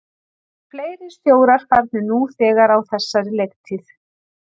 Það eru fleiri stjórar farnir nú þegar á þessari leiktíð.